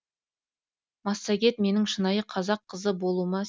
массагет менің шынайы қазақ қызы болуыма